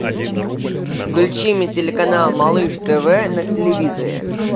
включи мне телеканал малыш тв на телевизоре